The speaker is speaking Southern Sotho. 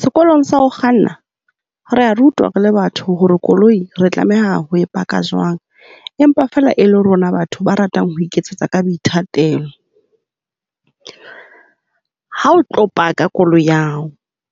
Sekolong sa ho kganna re a rutwa re le batho hore koloi re tlameha ho paka jwang. Empa feela e le rona batho ba ratang ho iketsetsa ka boithatelo. Ha o tlo park-a koloi ya hao,